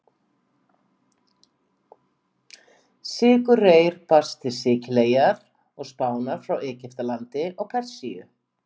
Sykurreyr barst til Sikileyjar og Spánar frá Egyptalandi og Persíu.